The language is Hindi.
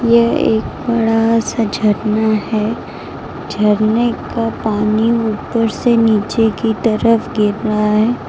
ये एक बड़ा सा झरना है झरने का पानी ऊपर से नीचे की तरफ गिरना है।